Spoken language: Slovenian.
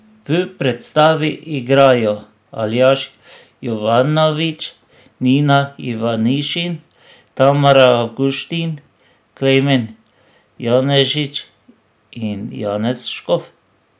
V predstavi igrajo Aljaž Jovanović, Nina Ivanišin, Tamara Avguštin, Klemen Janežič in Janez Škof.